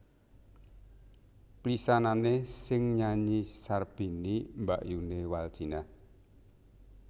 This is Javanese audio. Pisanané sing nyanyi Sarbini mbakyuné Waldjinah